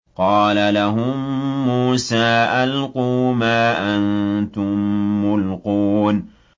قَالَ لَهُم مُّوسَىٰ أَلْقُوا مَا أَنتُم مُّلْقُونَ